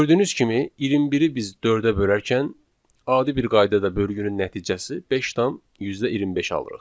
Gördüyünüz kimi, 21-i biz 4-ə bölərkən, adi bir qaydada bölgünün nəticəsi 5,25 alırıq.